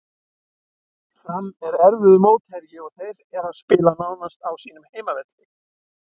Fram er erfiður mótherji og þeir eru að spila nánast á sínum heimavelli.